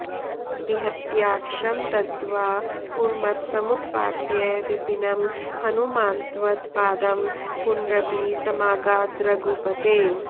निहत्याक्षं दग्ध्वा पुरमथ समुत्पाट्य विपिनं हनूमान्त्वत्पादं पुनरपि समागाद्रघुपते